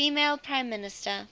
female prime minister